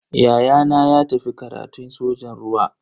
Ya'yana ya tafi karatun sojan ruwa.